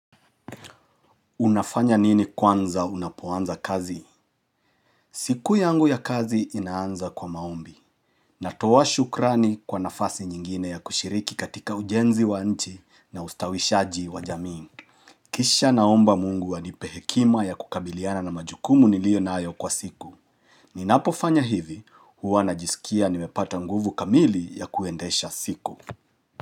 Unafanya nini kwanza unapoanza kazi? Siku yangu ya kazi inaanza kwa maombi. Natoa shukrani kwa nafasi nyingine ya kushiriki katika ujenzi wa nchi na ustawishaji wa jamii. Kisha naomba mungu anipe hekima ya kukabiliana na majukumu niliyo nayo kwa siku. Ninapofanya hivi, huwa najisikia nimepata nguvu kamili ya kuendesha siku.